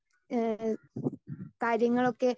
speaker 2 ഏഹ് കാര്യങ്ങളൊക്കെ